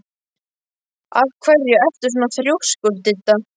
Af hverju ertu svona þrjóskur, Didda?